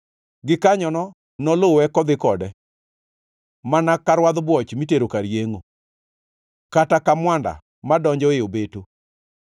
Gikanyono noluwe kodhi kode mana ka rwadh bwoch mitero kar yengʼo, kata ka mwanda madonjo e obeto